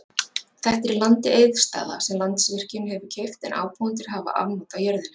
Þetta er í landi Eiðsstaða, sem Landsvirkjun hefur keypt, en ábúendur hafa afnot af jörðinni.